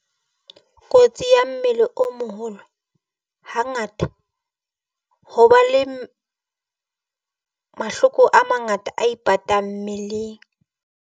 Kotsi ya mmele o moholo. Hangata ho ba le mahloko a mangata a ipatang mmeleng.